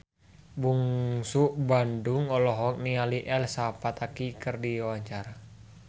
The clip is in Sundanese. Bungsu Bandung olohok ningali Elsa Pataky keur diwawancara